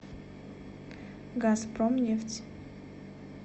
газпромнефть